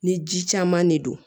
Ni ji caman de don